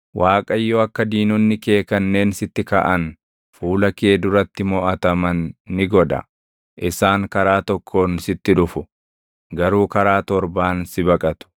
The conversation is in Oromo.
Waaqayyo akka diinonni kee kanneen sitti kaʼan fuula kee duratti moʼataman ni godha. Isaan karaa tokkoon sitti dhufu, garuu karaa torbaan si baqatu.